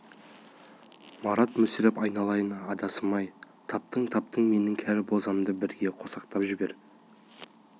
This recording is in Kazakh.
марат мүсіреп айналайын адасым-ай таптың таптың менің кәрі бозымды бірге қосақтап жібер